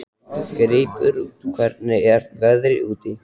Greipur, hvernig er veðrið úti?